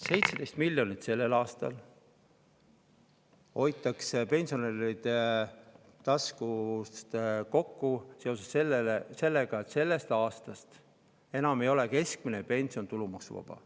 17 miljonit hoitakse sellel aastal pensionäride tasku arvel kokku seoses sellega, et sellest aastast ei ole keskmine pension enam tulumaksuvaba.